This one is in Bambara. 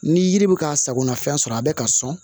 Ni yiri bɛ ka sagona fɛn sɔrɔ a bɛ ka sɔn